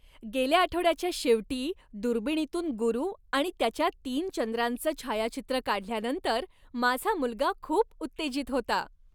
गेल्या आठवड्याच्या शेवटी दुर्बिणीतून गुरू आणि त्याच्या तीन चंद्रांचं छायाचित्र काढल्यानंतर माझा मुलगा खूप उत्तेजित होता.